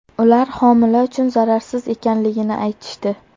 Ular homila uchun zararsiz ekanligini aytishdi.